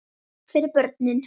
Allt fyrir börnin.